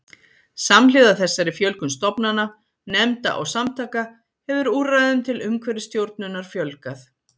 Samhliða þessari fjölgun stofnana, nefnda og samtaka hefur úrræðum til umhverfisstjórnunar fjölgað.